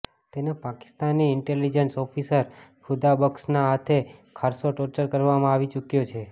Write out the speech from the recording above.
તેને Pakistani intelligence officer ખુદાબખ્શના હાથે ખાસ્સો ટોર્ચર કરવામાં આવી ચૂક્યો છે